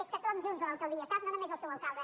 és que estàvem junts a l’alcaldia sap no només el seu alcalde